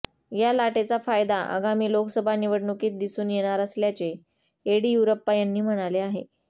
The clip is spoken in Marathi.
या लाटेचा फायदा आगामी लोकसभा निवडणुकीत दिसून येणार असल्याचे येडियुरप्पा यांनी म्हणाले आहे